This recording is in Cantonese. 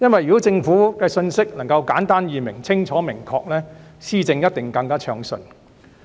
如果政府的信息能夠簡單易明、清楚明確，施政一定會更暢順。